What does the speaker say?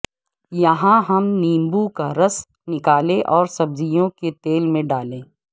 یہاں ہم نیبو کا رس نکالنے اور سبزیوں کے تیل میں ڈالیں